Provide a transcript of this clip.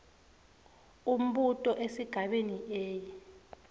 umbuto esigabeni a